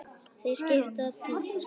Þeir skipta tugum.